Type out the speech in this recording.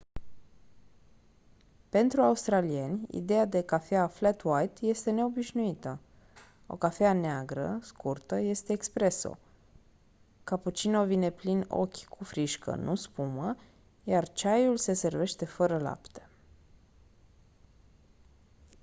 pentru australieni ideea de cafea flat white” este neobișnuită. o cafea neagră scurtă este espresso” cappuccino vine plin ochi cu frișcă nu spumă iar ceaiul se servește fără lapte